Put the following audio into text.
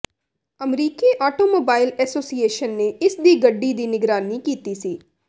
ਅਮਰੀਕੀ automobile association ਨੇ ਇਸ ਦੀ ਗੱਡੀ ਦੀ ਨਿਗਰਾਨੀ ਕੀਤੀ ਸੀ